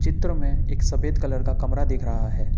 चित्र में एक सफेद कलर का कमरा दिख रहा है।